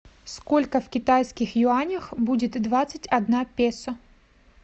сколько в китайских юанях будет двадцать одна песо